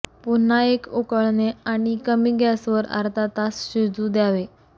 पुन्हा एक उकळणे आणि कमी गॅस वर अर्धा तास शिजू द्यावे